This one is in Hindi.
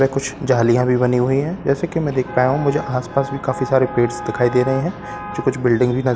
वे कुछ जालियां भी बनी हुई हैं जैसे कि मैं देख पा रहा हूं मुझे आस पास काफी सारे पेड़ दिखाईं दे रहे है मुझे कुछ बिल्डिंग भी नज--